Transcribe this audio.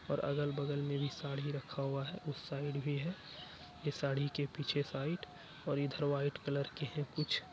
और अगल-बगल में भी साड़ी रखा हुआ है उस साइड भी है। ये साड़ी के पीछे साइड और इधर व्हाइट कलर की है कुछ--